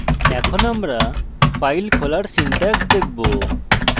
এখন আমরা file খোলার syntax দেখব